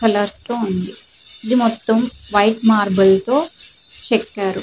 Colour tone ఇది మొత్తం white marble తో చెక్కారు.